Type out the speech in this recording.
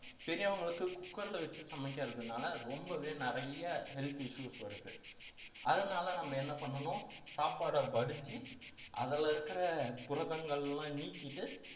பெரியவங்களுக்கு cooker ல வச்சு சமைக்கிறதுனால ரொம்பவே நிறைய health issues வருது அதனால நம்ம என்ன பண்ணணும் சாப்பாடை வடிச்சு அதுல இருக்கிற புரதங்கள் எல்லாம் நீக்கிட்டு